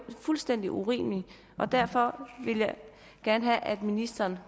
fuldstændig urimeligt derfor vil jeg gerne have at ministeren